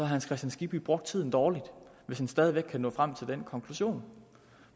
hans kristian skibby brugt tiden dårligt hvis han stadig væk kan nå frem til den konklusion